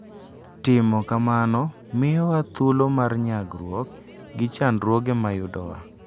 Timo kamano miyowa thuolo mar nyagruok gi chandruoge ma yudowa.